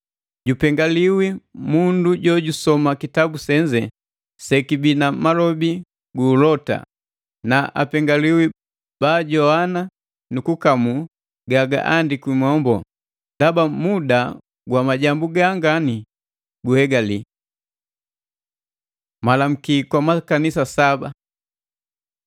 Jupengaliwi mundu jojusoma kitabu senze sekibi na malobi gu ulota, na apengiwi baajogwana nukukamu ga gahandikwi mombo, ndaba muda gwa majambu ganga guhegali. Malamuki kwa makanisa saba